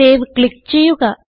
save click ചെയ്യുക